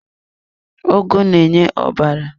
Ugu na-enye ọbara.